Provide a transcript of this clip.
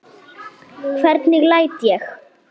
Hvernig læt ég!